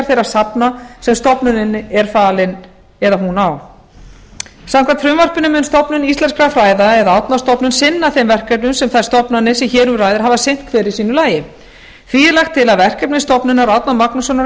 þeirra safna sem stofnuninni er falin eða hún á samkvæmt frumvarpinu mun stofnun íslenskra fræða árnastofnun sinna þeim verkefnum sem þær stofnanir sem hér um ræðir hafa sinnt hver í sínu lagi því er lagt til að verkefni stofnunar árna magnússonar á